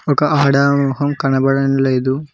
ఒక ఆడమ మొహం కనబడడం లేదు.